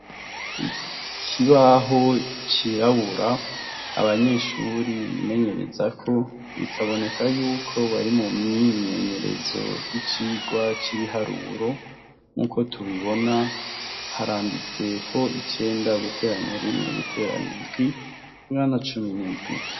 Ikibaho cirabura abanyeshure bimenyerezako bikaboneka yuko bari mumwimenyerezo yicirwa cibiharuro nkuko tubibona haranditseko icumi guteranya indwi bingana cumi nindwi